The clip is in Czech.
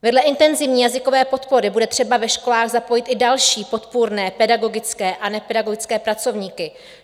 Vedle intenzivní jazykové podpory bude třeba ve školách zapojit i další podpůrné pedagogické a nepedagogické pracovníky.